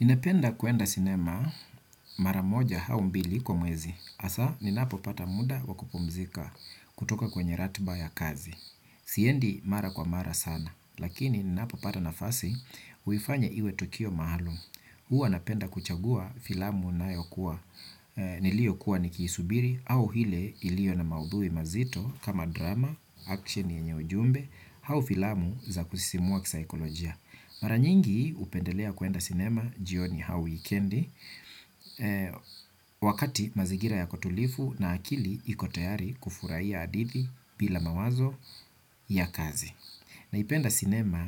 Ninapenda kuenda sinema mara moja au mbili kwa mwezi, hasa ninapopata muda wa kupumzika kutoka kwenye ratiba ya kazi. Siendi mara kwa mara sana, lakini ninapopata nafasi huifanya iwe tukio maalum. Huwa napenda kuchagua filamu niliyokuwa nikiisubiri au ile iliyo na maudhui mazito kama drama, action yenye ujumbe au filamu za kusisimua kisaikolojia. Mara nyingi hupendelea kuenda sinema jioni au wikendi wakati mazingira yako tulivu na akili iko tayari kufurahia hadithi bila mawazo ya kazi. Naipenda sinema